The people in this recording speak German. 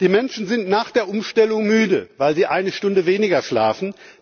Die Menschen sind nach der Umstellung müde, weil sie eine Stunde weniger schlafen.